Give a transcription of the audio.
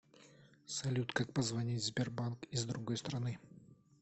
салют как позвонить в сбербанк из другой страны